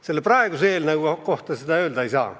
Selle praeguse eelnõu kohta seda öelda ei saa.